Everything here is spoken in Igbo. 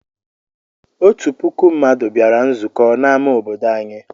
Otu puku mmadụ bịara nzukọ n'amá obodo anyị.